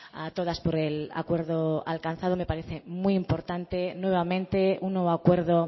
a todas por el acuerdo alcanzado me parece muy importante nuevamente un nuevo acuerdo